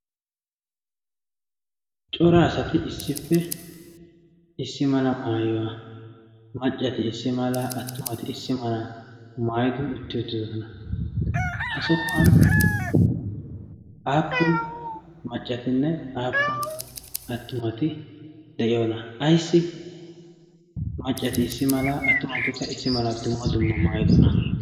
cora asati issippe issi mala maayuwaa maccati issi mala attumati issi mala maayidi utti uttidosona ha sohuwan aappun maccatinne aappun attumati de7iyoona aissi maccati issi mala attumatikka issi mala dumma dumma maayidona